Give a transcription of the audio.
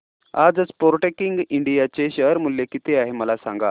आज Sportking India चे share मूल्य किती आहे मला सांगा